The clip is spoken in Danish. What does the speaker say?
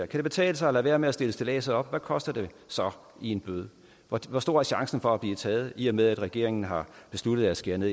det betale sig at lade være med at stille stilladset op hvad koster det så i bøde hvor stor er chancen for at blive taget i og med at regeringen har besluttet at skære ned